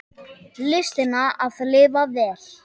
Listina að lifa vel.